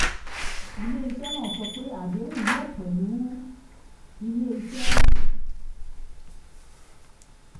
ilé iṣẹ́ náà sọ pé adéhùn yóò ṣe pẹ̀lú ilé iṣẹ́ méjèèjì fún àgbékalẹ̀ soyabean.